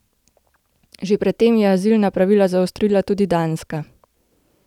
Že pred tem je azilna pravila zaostrila tudi Danska.